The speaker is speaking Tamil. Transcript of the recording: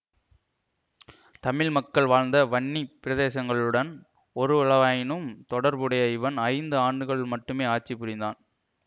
தமிழ் மக்கள் வாழ்ந்த வன்னி பிரதேசங்களுடன் ஓருவளவாயினும் தொடர்புடைய இவன் ஐந்து ஆண்டுகள் மட்டுமே ஆட்சி புரிந்தான்